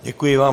Děkuji vám.